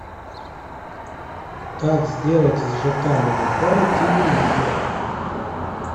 как сделать из жк монитора телевизор